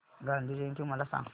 गांधी जयंती मला सांग